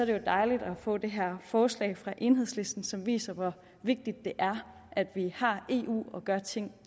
det jo dejligt at få det her forslag fra enhedslisten som viser hvor vigtigt det er at vi har eu og gør ting